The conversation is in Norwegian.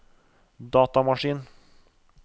datamaskin